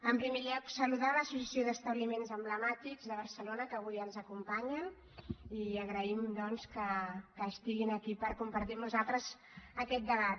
en primer lloc saludar l’associació d’establiments emblemàtics de barcelona que avui ens acompanyen i agraïm que estiguin aquí per compartir amb nosaltres aquest debat